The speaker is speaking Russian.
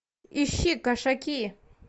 ищи кошаки